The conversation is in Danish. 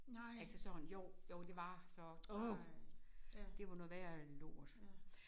Altså sådan jo jo det var så ej det var noget værre lort